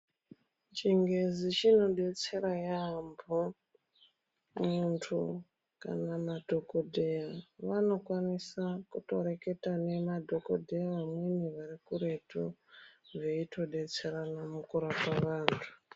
Chingezi chinodetsera yaambo. Muntu kana madhokoteya vanokwanisa kutorekta nemdhokodheya amweni arikuretu veitodetserana mukurapa antu .